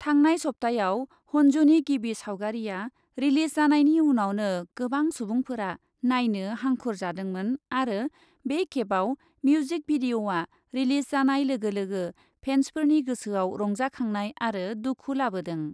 थांनाय सप्तायाव हन्जुनि गिबि सावगारिआ रिलीज जानायनि उनावनो गोबां सुबुंफोरा नायनो हांखुर जादोंमोन आरो बे खेबआव मिउजिक भिडिअ'आ रिलीज जानाय लोगो लोगो फेन्सफोरनि गोसोआव रंजाखांनाय आरो दुखु लाबोदों।